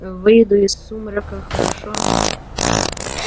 выйду из сумрака хорошо